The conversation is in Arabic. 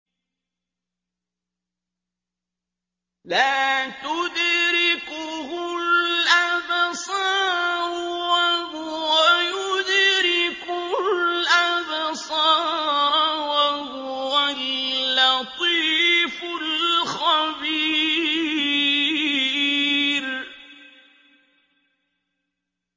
لَّا تُدْرِكُهُ الْأَبْصَارُ وَهُوَ يُدْرِكُ الْأَبْصَارَ ۖ وَهُوَ اللَّطِيفُ الْخَبِيرُ